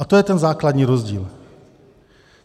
A to je ten základní rozdíl.